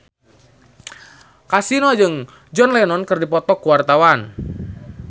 Kasino jeung John Lennon keur dipoto ku wartawan